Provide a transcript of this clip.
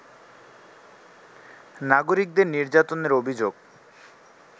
নাগরিকদের নির্যাতনের অভিযোগ